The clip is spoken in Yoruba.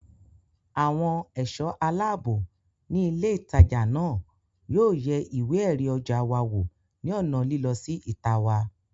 Àwọn ẹ̀ṣọ́ aláàbò ní ilé ìtajà náà yóò yẹ ìwé ẹ̀rí ọjà wa wò ní ònà lílọ sí ìta wa